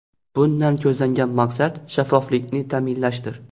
Bundan ko‘zlangan maqsad shaffoflikni ta’minlashdir.